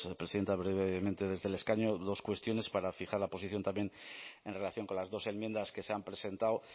presidenta brevemente desde el escaño dos cuestiones para fijar la posición también en relación con las dos enmiendas que se han presentado